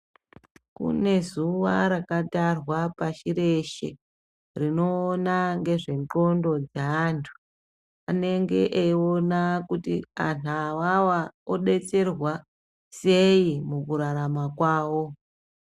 Kune zuva rakatarwa pashi reshe rinoona ngezvendxondo dzeantu. Anenge eiona kuti antu avava obetserwa sei mukurarama kwavo.